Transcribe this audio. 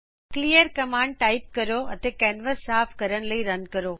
clear command type ਕਰੋ ਅਤੇ canvas ਸਾਫ ਕਰਨ ਲਈ ਰਨ ਕਰੋ